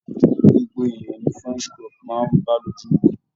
Gbogbo ènìyàn ni french crop máa ń bá lójú mu.